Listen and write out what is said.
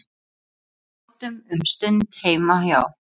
Sátum um stund heima hjá